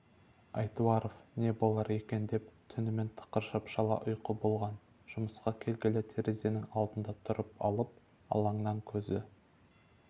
айтуаров не болар екен деп түнмен тықыршып шала ұйқы болған жұмысқа келгелі терезенің алдында тұрып алып алаңнан көзі